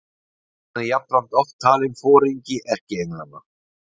Hann er jafnframt oft talinn foringi erkienglanna.